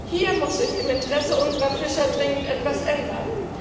Hier muss sich im Interesse unserer Fischer dringend etwas ändern!